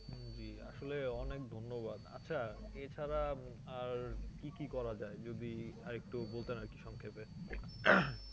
জ্বি আসলে অনেক ধন্যবাদ আচ্ছা এছাড়া উম আর কি কি করা যাই যদি আর একটু বলতেন আর কি সংক্ষেপে